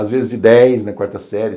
Às vezes de dez na quarta série.